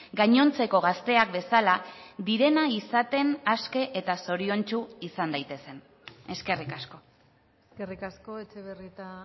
gainontzeko gazteak bezala direna izaten aske eta zoriontsu izan daitezen eskerrik asko eskerrik asko etxebarrieta